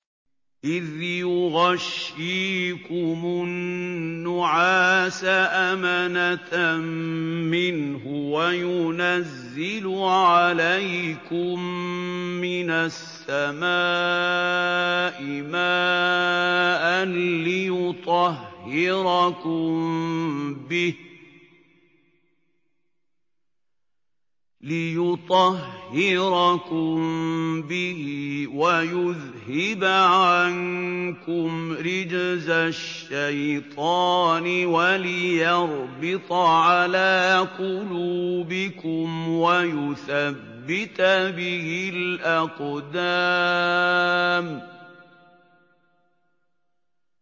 إِذْ يُغَشِّيكُمُ النُّعَاسَ أَمَنَةً مِّنْهُ وَيُنَزِّلُ عَلَيْكُم مِّنَ السَّمَاءِ مَاءً لِّيُطَهِّرَكُم بِهِ وَيُذْهِبَ عَنكُمْ رِجْزَ الشَّيْطَانِ وَلِيَرْبِطَ عَلَىٰ قُلُوبِكُمْ وَيُثَبِّتَ بِهِ الْأَقْدَامَ